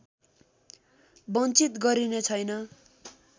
बञ्चित गरिने छैन